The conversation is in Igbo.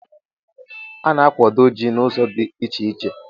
A na-akwado Ji n'ụzọ dị iche iche